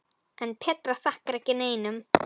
En Petra þakkar ekki neinum.